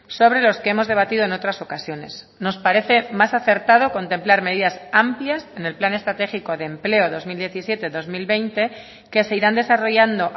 sobre los que hemos debatido en otras ocasiones nos parece más acertado contemplar medidas amplias en el plan estratégico de empleo dos mil diecisiete dos mil veinte que se irán desarrollando